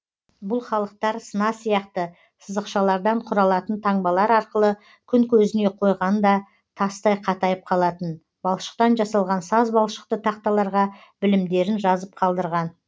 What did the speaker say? бұл халықтар сына сияқты сызықшалардан құралатын таңбалар арқылы күн көзіне қойғанда тастай қатайып қалатын балшықтан жасалған саз балшықты тақталарға білімдерін жазып қалдырған